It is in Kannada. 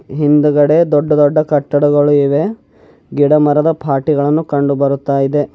ಹಿಂದುಗಡೆ ದೊಡ್ಡ ದೊಡ್ಡ ಕಟ್ಟಡಗಳು ಇವೆ ಗಿಡ ಮರದ ಪಾಟ್ ಗಳನ್ನು ಕಂಡು ಬರುತ್ತಾ ಇದೆ.